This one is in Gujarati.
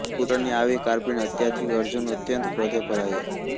પુત્ર ની આવી કારપીણ હત્યાથી અર્જુન અત્યંત ક્રોધે ભરાયો